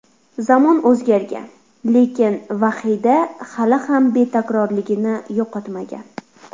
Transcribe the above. Zamon o‘zgargan, lekin Vahida hali ham betakrorligini yo‘qotmagan.